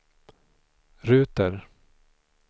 ruter